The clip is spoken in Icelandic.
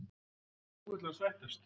Og nú vill hann sættast?